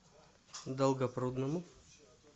долгопрудному